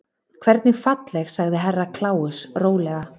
Hvernig falleg sagði Herra Kláus rólega.